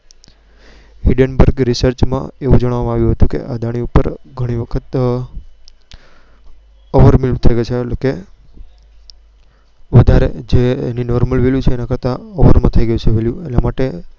Hindenburg Rearch વું જણાવવામાં આવ્યું. કે અદાણી ઉપર ઘણી વખત અર ઓવેર value એટલે કે વધારે value એનાા કરતાં વધારે value થઈ ગયું છે.